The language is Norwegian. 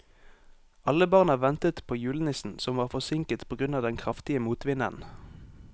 Alle barna ventet på julenissen, som var forsinket på grunn av den kraftige motvinden.